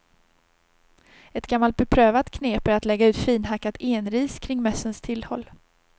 Ett gammalt beprövat knep är att lägga ut finhackat enris kring mössens tillhåll.